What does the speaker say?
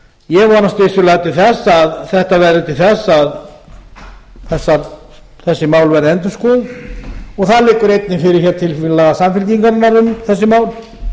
ég vonast vissulega til að þetta verði til þess að þessi mál verði endurskoðun og það liggur einnig fyrir tillaga samfylkingarinnar um þessi mál